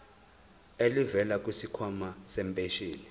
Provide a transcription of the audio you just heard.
elivela kwisikhwama sempesheni